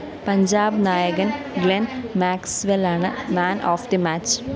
പഞ്ചാബ് നായകന്‍ ഗ്ലെന്‍ മാക്‌സ്‌വെല്ലാണ് man of the match